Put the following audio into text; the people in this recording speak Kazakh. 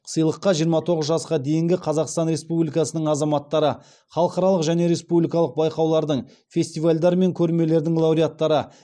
сыйлыққа жиырма тоғыз жасқа дейінгі қазақстан республикасының азаматтары халықаралық және республикалық байқаулардың фестивальдар мен көрмелердің лауреаттары